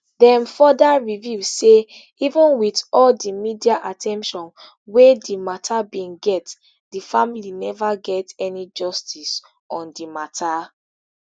dem further reveal say even wit all di media at ten tion wey di mata bin get di family neva get any justice on di mata